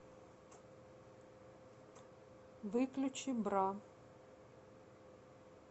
выключи бра